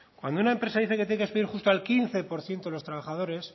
cuando una empresa dice que tiene que despedir justo al quince por ciento de los trabajadores